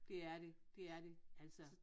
Det er det det er det altså